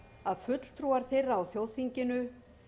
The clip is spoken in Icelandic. að fulltrúar þeirra á þjóðþinginu